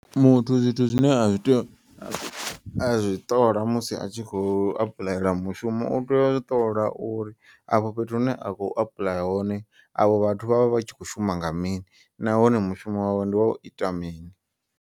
Muthu zwithu zwine a zwi to azwi ṱola musi atshi kho apuḽayela mushumo. U tea u ṱola uri afho fhethu hune a khou apuḽaya hone avho vhathu vhavha vhatshi kho shuma nga mini. Nahone mushumo wawe ndi wa u ita mini.